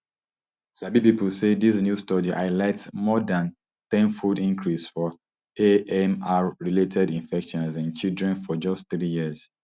sabi pipo say dis new study highlights more dan ten fold increase for amrrelated infections in children for just three years